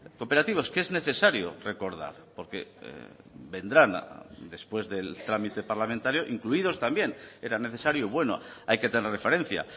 cooperativos que es necesario recordar porque vendrán después del trámite parlamentario incluidos también era necesario y bueno hay que tener referencia